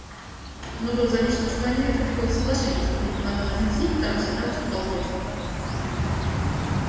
но было замечено что они редко приходят к соглашению что бы ни предлагал один из них второй всегда выступал против